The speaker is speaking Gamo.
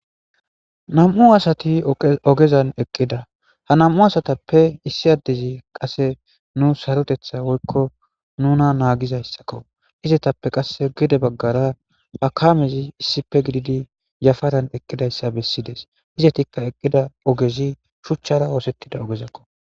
nam7u asati ogezan eqqida ha nam7u asatappe issi addizi qasse nu sarotetha woykko nuna naagizayssakko izetappe qasse gede baggara hakamezi issipe gididi yafaran eqqidayssa bessides izetikka eqqida ogezi shuchchara oosettida ogezakko